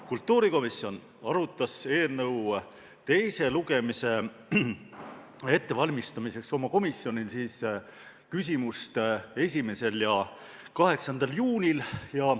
Kultuurikomisjon arutas eelnõu teise lugemise ettevalmistamiseks oma istungitel 1. ja 8. juunil.